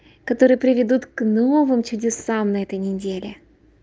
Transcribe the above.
которые приведут к новым чудесам на этой неделе